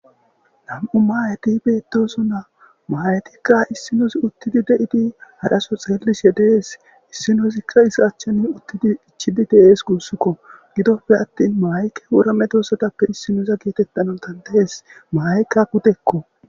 Nam7u maayeti beetdoso naa maayetikka issinos uttidi de7idi hadaso xeelis hedees issinosikka isa achchene uttidi ichidi de7ees guussukko gidoppe attin maayke worame doossatappe issinoza geetettanon tandahes maaykka kutekko.